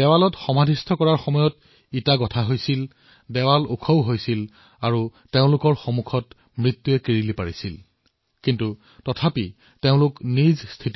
দেৱালত জীয়াই খোদিত কৰাৰ সময়ত এটাৰ ওপৰত এটাকৈ ইটা গঁথা হৈছিল দেৱাল ওখ হৈ গৈ আছিল কিন্তু তথাপিও তেওঁ সাহ